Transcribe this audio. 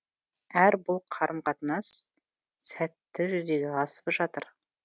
әрі бұл қарым қатынас сәтті жүзеге асып жатыр